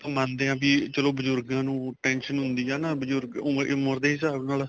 ਆਪਾਂ ਮੰਨਦੇ ਹਾਂ ਵੀ ਚਲੋਂ ਬਜ਼ੁਰਗਾਂ ਨੂੰ tension ਹੁੰਦੀ ਨਾ ਬਜ਼ੁਰਗ ਉਮਰ ਦੇ ਹਿਸਾਬ ਨਾਲ